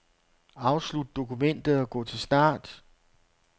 Afslut dokumentet og gå til start.